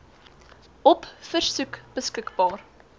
op versoek beskikbaar